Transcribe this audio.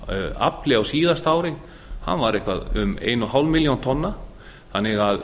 afli á síðasta ári var eitthvað um eins og hálfa milljón tonna þannig að